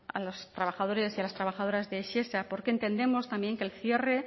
a los trabajadores y a las trabajadoras de shesa porque entendemos también que el cierre